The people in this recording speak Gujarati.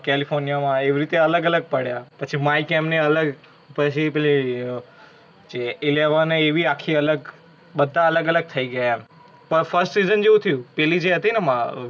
California માં એવી રીતે અલગ અલગ પડ્યા, પછી Mike એમને alert પછી પેલી જે Eleven હે એ ભી આખી અલગ, બધા અલગ અલગ થઇ ગ્યા એમ. પણ First season જેવુ થયુ. પેલી જે હતી ને એ માં